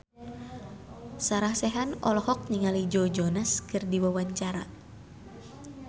Sarah Sechan olohok ningali Joe Jonas keur diwawancara